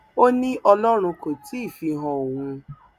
ó ní ọlọrun kò tí ì fi han òun